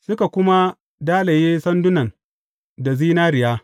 Suka kuma dalaye sandunan da zinariya.